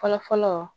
Fɔlɔ fɔlɔ